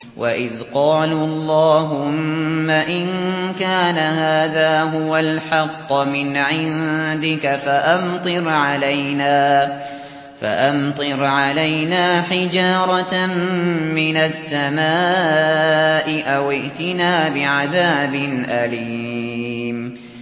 وَإِذْ قَالُوا اللَّهُمَّ إِن كَانَ هَٰذَا هُوَ الْحَقَّ مِنْ عِندِكَ فَأَمْطِرْ عَلَيْنَا حِجَارَةً مِّنَ السَّمَاءِ أَوِ ائْتِنَا بِعَذَابٍ أَلِيمٍ